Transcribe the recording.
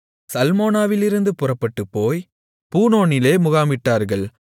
சல்மோனாவிலிருந்து புறப்பட்டுப்போய் பூனோனிலே முகாமிட்டார்கள்